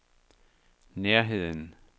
nærheden